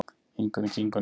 Ingunni, Kingunni,